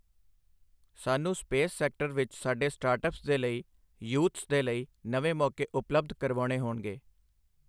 ਸਾਨੂੰ space sector ਵਿੱਚ ਸਾਡੇ ਸਟਾਰਟਅੱਪਸ ਦੇ ਲਈ, ਯੂਥਸ ਦੇ ਲਈ ਨਵੇਂ ਮੌਕੇ ਉਪਲੱਬਧ ਕਰਵਾਉਣੇ ਹੋਣਗੇ।